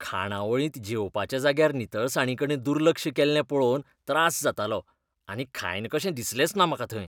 खाणावळींत जेवपाच्या जाग्यार नितळसाणीकडेन दुर्लक्ष केल्लें पळोवन त्रास जातालो आनी खायन कशें दिसलेंच ना म्हाका थंय.